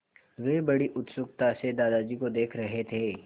वे बड़ी उत्सुकता से दादाजी को देख रहे थे